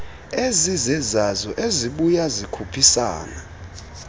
ezizezazo ezibya zikhuphisane